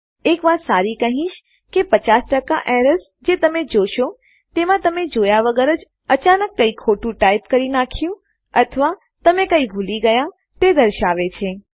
એક વાત સારી કહીશ કે ૫૦ એરર્સ જે તમે જોશો તેમાં તમે જોયા વગર જ અચાનક કંઈ ખોટું ટાઈપ કરી નાખ્યું અથવા તમે કંઈ ભૂલી ગયા તે દર્શાવે છે